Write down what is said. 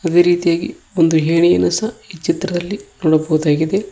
ಅದೇ ರೀತಿಯಾಗಿ ಒಂದು ಎಣಿಯನ್ನ ಸಹ ಈ ಚಿತ್ರದಲ್ಲಿ ನೋಡಬಹುದಾಗಿದೆ.